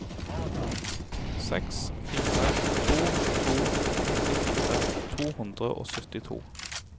seks fire to to nittifire to hundre og syttito